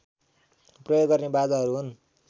प्रयोग गर्ने बाजाहरू हुन्